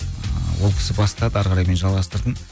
ыыы ол кісі бастады ары қарай мен жалғастырдым